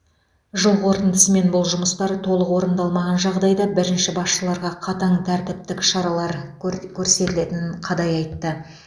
жыл қорытындысымен бұл жұмыстар толық орындалмаған жағдайда бірінші басшыларға қатаң тәртіптік шара көрт көрсетілетінін қадай айтты